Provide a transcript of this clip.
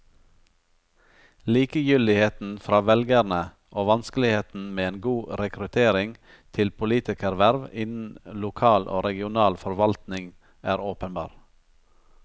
Likegyldigheten fra velgerne og vanskeligheten med en god rekruttering til politikerverv innen lokal og regional forvaltning er åpenbar.